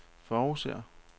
forudser